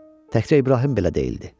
Təkcə İbrahim belə deyildi.